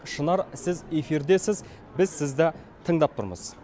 шынар сіз эфирдесіз біз сізді тыңдап тұрмыз